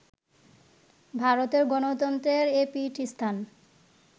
ভারতের গণতন্ত্রের এ পীঠস্থান